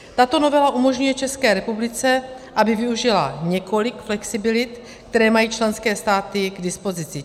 Tato novela umožňuje České republice, aby využila několik flexibilit, které mají členské státy k dispozici.